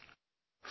Friends,